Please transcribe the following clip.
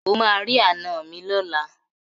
O máa rí àná mi lọ́la.